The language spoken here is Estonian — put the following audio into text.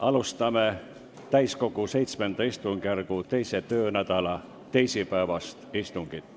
Alustame täiskogu VII istungjärgu teise töönädala teisipäevast istungit.